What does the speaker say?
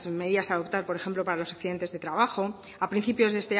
medidas a adoptar por ejemplo para los accidentes de trabajo a principios de